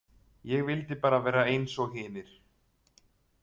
Ég vildi bara vera eins og hinir.